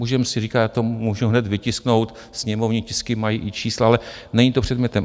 Můžeme si říkat, já to můžu hned vytisknout, sněmovní tisky mají i čísla, ale není to předmětem.